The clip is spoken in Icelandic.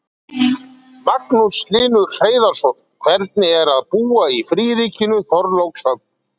Magnús Hlynur Hreiðarsson: Hvernig er að búa í fríríkinu Þorlákshöfn?